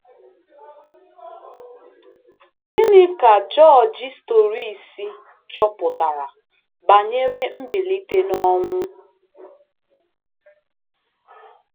Gịnị ka Jọjị Storrisi chọpụtara banyere mbilite n'ọnwụ?